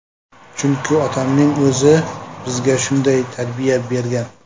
Chunki otamning o‘zi bizga shunday tarbiya bergan.